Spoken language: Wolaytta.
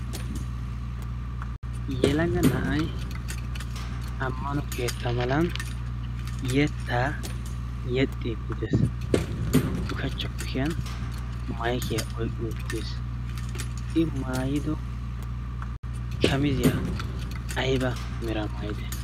yelaga na'ay ammano keetta malan yettaa yexxi gidees. ushachchoppukiyan maykiyaa oyqqi uttiis. i maayido shamiziyaa ayba mira maayide?